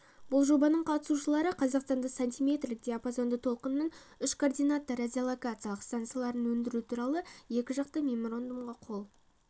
бұл жобаның қатысушылары қазақстанда сантиметрлік диапазонды толқынның үшкоординатты радиолокациялық стансаларын өндіру туралы екі жақты меморандумға қол